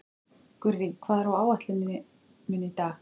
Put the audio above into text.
Gurrí, hvað er á áætluninni minni í dag?